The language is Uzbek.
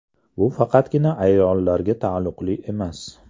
Bu faqatgina ayollarga taalluqli emas.